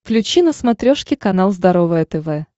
включи на смотрешке канал здоровое тв